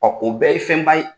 o bɛɛ ye fɛnba ye.